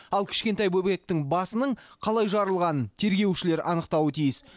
ал кішкентай бөбектің басының қалай жарылғанын тергеушілер анықтауы тиіс